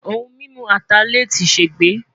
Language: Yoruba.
Ohun mimu Atalẹ ti ṣegbe